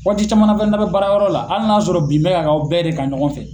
Waati caman na fɛnɛ n'a bɛ baara yɔrɔ la hali n'a y'a sɔrɔ bin bɛ ka aw bɛɛ de kan ɲɔgɔn fɛ